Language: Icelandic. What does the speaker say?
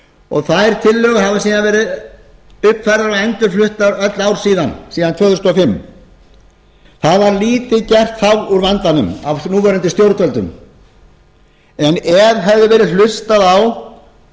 og þær tillögur hafa síðan verið uppfærðar og endurfluttar öll ár síðan síðan árið tvö þúsund og fimm það var lítið gert þá úr vandanum af núverandi stjórnvöldum en ef hefði verið hlustað á þau